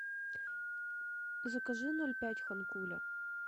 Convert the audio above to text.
закажи ноль пять ханкуля